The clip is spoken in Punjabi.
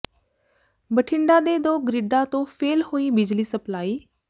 ਬਠਿੰਡਾ ਦੇ ਦੋ ਗਰਿੱਡਾਂ ਤੋਂ ਫੇਲ੍ਹ ਹੋਈ ਬਿਜਲੀ ਸਪਲਾਈ